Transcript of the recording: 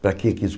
Para que isso?